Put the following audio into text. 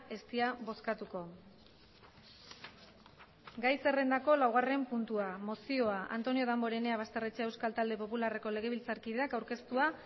ez dira bozkatuko gai zerrendako laugarren puntua mozioa antonio damborenea basterrechea euskal talde popularreko legebiltzarkideak aurkeztua